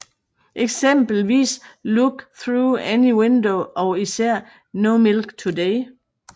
Eksempelvis Look Through Any Window og især No Milk Today